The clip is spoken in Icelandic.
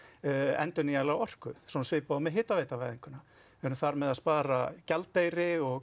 endurnýjanlega orku við erum þar með að spara gjaldeyri og